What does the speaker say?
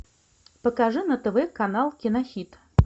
покажи на тв канал кинохит